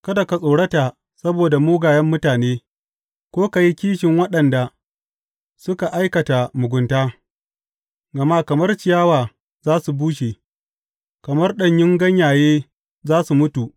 Kada ka tsorata saboda mugayen mutane ko ka yi kishin waɗanda suka aikata mugunta; gama kamar ciyawa za su bushe, kamar ɗanyun ganyaye za su mutu.